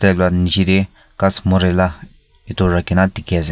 taila nichey de ghas murie la etu rakhi na dikhi ase.